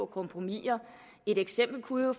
kompromisser et eksempel kunne jo